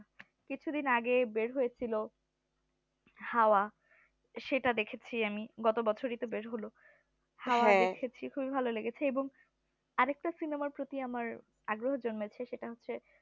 কিছু দিন আগে বের হয়েছিল হাওয়া সেটা দেখেছি আমি গত বছরই তো বের হলো হওয়া দেখেছি আমি খুবই ভালো লেগেছে এবং আরেকটা সিনেমার প্রতি আমার আগ্রহ জন্মেছে সেটা হচ্ছে